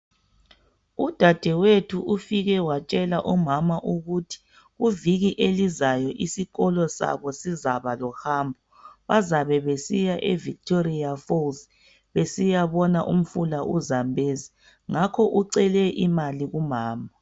Udadewethu ufike watshela omama ukuthi iviki elizayo isikolo sabo sizabe lohambo bazabe besiya eVictoria falls besiya bona umfula uZambezi ngakho ucele imali kumama.